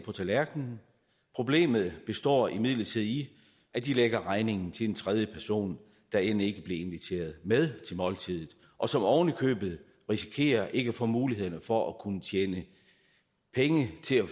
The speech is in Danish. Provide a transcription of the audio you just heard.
på tallerkenen problemet består imidlertid i at de lægger regningen til en tredje person der end ikke blev inviteret med til måltidet og som oven i købet risikerer ikke at få mulighederne for at kunne tjene penge til at